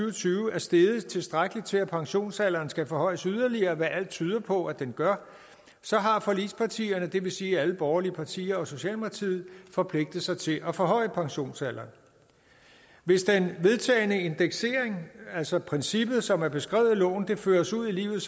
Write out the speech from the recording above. og tyve er steget tilstrækkeligt til at pensionsalderen skal forhøjes yderligere hvad alt tyder på at den gør så har forligspartierne det vil sige alle de borgerlige partier og socialdemokratiet forpligtet sig til at forhøje pensionsalderen hvis den vedtagne indeksering altså princippet som er beskrevet i loven føres ud i livet